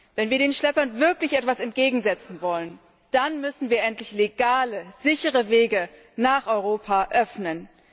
Wenn wir den Schleppern wirklich etwas entgegensetzen wollen, dann müssen wir endlich legale, sichere Wege nach Europa öffnen.